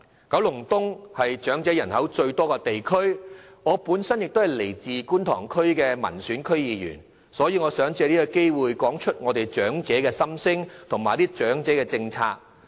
九龍東是長者人口最多的地區，我本身是觀塘區的民選區議員，所以也想藉此機會談談長者的心聲和長者政策。